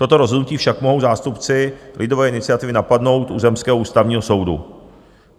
Toto rozhodnutí však mohou zástupci lidové iniciativy napadnout u zemského ústavního soudu.